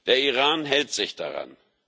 Der Iran hält sich daran.